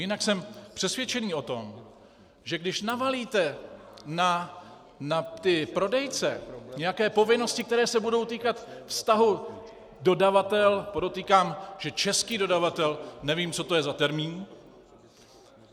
Jinak jsem přesvědčený o tom, že když navalíte na ty prodejce nějaké povinnosti, které se budou týkat vztahu dodavatel - podotýkám, že český dodavatel, nevím, co to je za termín.